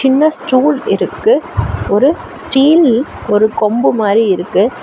சின்ன ஸ்டூல் இருக்கு ஒரு ஸ்டீல் ஒரு கொம்பு மாரி இருக்கு.